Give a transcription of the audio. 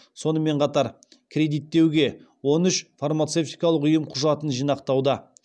сонымен қатар кредиттеуге он үш фармацевтикалық ұйым құжатын жинақтауда